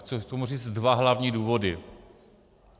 Chci k tomu říct dva hlavní důvody.